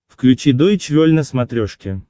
включи дойч вель на смотрешке